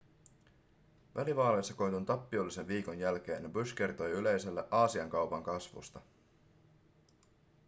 välivaaleissa koetun tappiollisen viikon jälkeen bush kertoi yleisölle aasian kaupan kasvusta